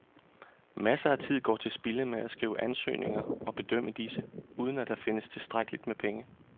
Masser af tid går til spilde med at skrive ansøgninger og bedømme disse, uden at der findes tilstrækkeligt med penge.